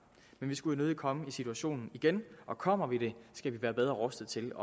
men vi skulle jo nødig komme i situationen igen og kommer vi det skal vi være bedre rustet til